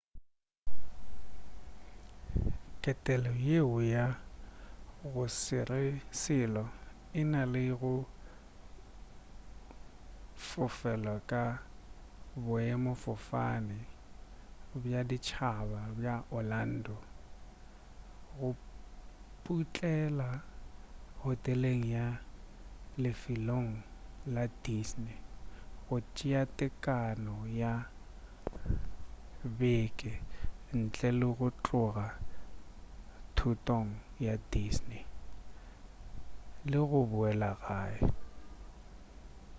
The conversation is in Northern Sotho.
ketelo yeo ya go sere selo e na le go fofela ka boemafofane bja ditšhaba bja orlando go putlela hoteleng ya lefelong la disney go tšea tekano ya beke ntle le go tloga thotong ya disney le go boela gae